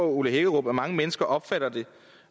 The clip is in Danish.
ole hækkerup at mange mennesker opfatter det